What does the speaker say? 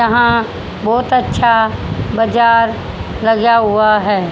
यहां बहुत अच्छा बाजार लगा हुआ है।